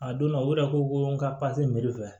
A donna o yɛrɛ ko ko n ka